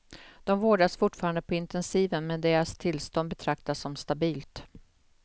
De vårdas fortfarande på intensiven, men deras tillstånd betraktas som stabilt.